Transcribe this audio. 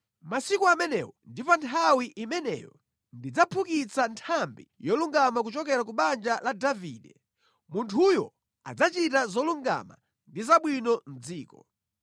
“ ‘Mʼmasiku amenewo ndi pa nthawi imeneyo ndidzaphukitsa Nthambi yolungama kuchokera ku banja la Davide; munthuyo adzachita zolungama ndi zabwino mʼdziko.